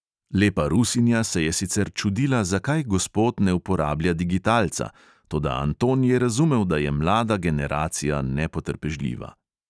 Lepa rusinja se je sicer čudila, zakaj gospod ne uporablja digitalca, toda anton je razumel, da je mlada generacija nepotrpežljiva.